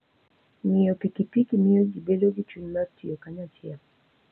Ng'iyo pikipiki miyo ji bedo gi chuny mar tiyo kanyachiel.